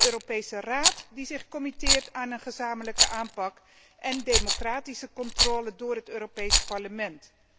Een Europese Raad die zich verbindt tot een gezamenlijke aanpak en democratische controle door het Europees Parlement.